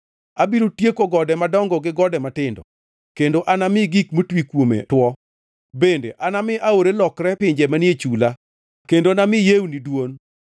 Abiro tieko gode madongo gi gode matindo kendo anami gik motwi kuome two; bende anami aore lokre pinje manie chula kendo nami yewni dwon.